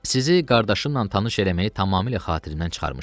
Sizi qardaşınla tanış eləməyi tamamilə xatirimdən çıxarmışam.